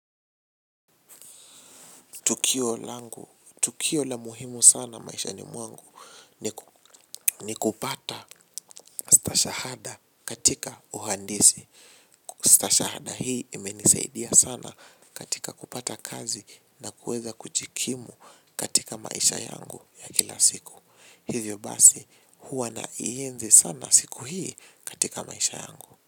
Tukio la muhimu sana maishani mwangu ni, ni kupata stashahada katika uhandisi. Stashahada hii imenisaidia sana katika kupata kazi na kuweza kujikimu katika maisha yangu ya kila siku. Hivyo basi, huwa na ienzi sana siku hii katika maisha yangu.